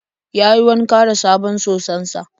Yayi wanka da sabon soson sa.